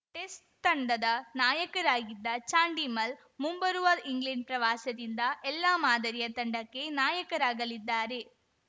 ಸ್ ತಂಡದ ನಾಯಕರಾಗಿದ್ದ ಚಾಂಡಿಮಲ್ ಮುಂಬರುವ ಇಂಗ್ಲೆಂಡ್ ಪ್ರವಾಸದಿಂದ ಎಲ್ಲಾ ಮಾದರಿಯ ತಂಡಕ್ಕೆ ನಾಯಕರಾಗಲಿದ್ದಾರೆ